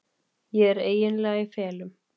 Ég er eiginlega í felum.